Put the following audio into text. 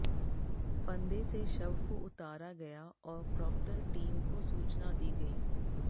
फंदे से शव को उतारा गया और प्रॉक्टर टीम को सूचना दी गई